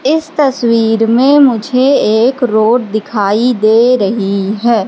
इस तस्वीर में मुझे एक रोड दिखाई दे रही है।